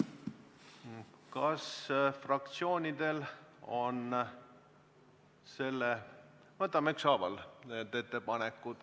Võtame ükshaaval need ettepanekud.